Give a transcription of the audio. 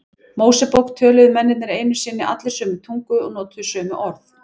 Mósebók töluðu mennirnir einu sinni allir sömu tungu og notuðu sömu orð.